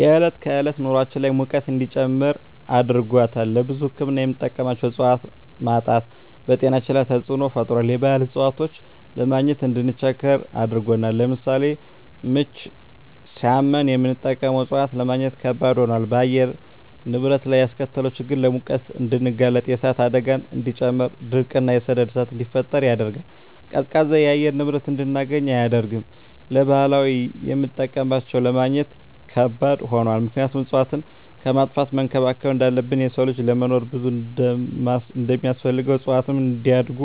የዕለት ከዕለት ኑራችን ላይ ሙቀት እንዲጨምር አድርጎታል። ለብዙ ህክምና የምንጠቀማቸው እፅዋቶች ማጣት በጤናችን ላይ ተፅዕኖ ፈጥሯል የባህል እፅዋቶችን ለማግኘት እንድንቸገር አድርጎናል። ለምሳሌ ምች ሳመን የምንጠቀመው እፅዋት ለማግኘት ከበድ ሆኗል። በአየር ንብረት ላይ ያስከተለው ችግር ለሙቀት እንድንጋለጥ የእሳት አደጋን እንዲጨምር ድርቅ እና የሰደድ እሳትን እንዲፈጠር ያደርጋል። ቀዝቃዛ የአየር ንብረት እንድናገኝ አያደርግም። ለባህላዊ የምጠቀምባቸው ለማግኘት ከባድ ሆኗል ምክንያቱም እፅዋትን ከማጥፋት መንከባከብ እንዳለብን የሰው ልጅ ለመኖር ብዙ እንደማስፈልገው እፅዋትም እንዲያድጉ